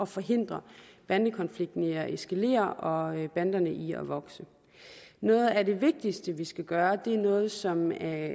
forhindre bandekonflikten i at eskalere og banderne i at vokse noget af det vigtigste vi skal gøre og det er noget som er